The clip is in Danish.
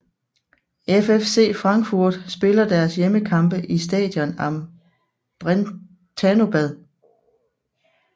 FFC Frankfurt spiller deres hjemmekampe i Stadion am Brentanobad